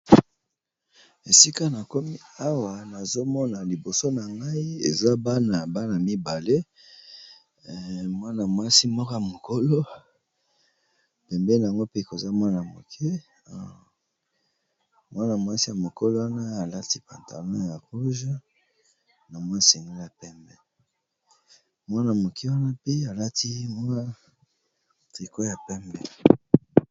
Esika na komi awa nazo mona liboso na ngai eza bana, bana mibale mwana mwasi moko mokolo, pembeni'ango koza mwana ya moke . Mwana mwasi ya mokolo wana a lati pantalon ya rouge na mwa singlet ya pembe, mwana moke wana mpe a lati mwa tricot ya pembe .